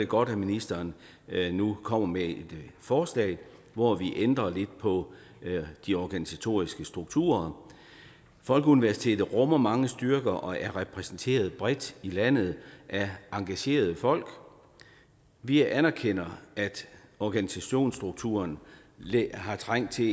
godt at ministeren nu kommer med et forslag hvor vi ændrer lidt på de organisatoriske strukturer folkeuniversitetet rummer mange styrker og er repræsenteret bredt i landet af engagerede folk vi anerkender at organisationsstrukturen har trængt til